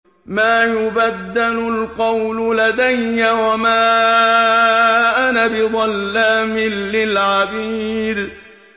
مَا يُبَدَّلُ الْقَوْلُ لَدَيَّ وَمَا أَنَا بِظَلَّامٍ لِّلْعَبِيدِ